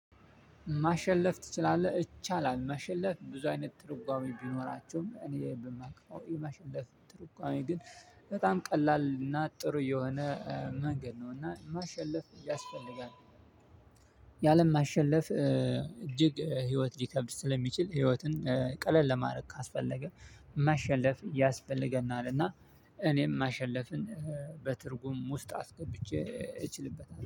ማሸለፍ ትችላለህ እችላል ማሸለፍ ብዙ አይነት ትርጓሜ ቢኖራቸውም እኔ በማክፈው የማሸለፍ ትርጓሜ ግን በጣም ቀላል እና ጥሩ የሆነ መንገድ ነው እና ማሸለፍ። የአለም ማሸለፍ እጅግ ህይወት ሊከብድ ስለሚችል ህይወትን ቀለል ለማድረግ ካስፈለገ ማሸነፍ ያስፈልገናልና። እኔም ማሸነፍን በትርጉም ውስጥ አስገብቼ እችልበታለሁ